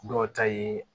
Dɔw ta ye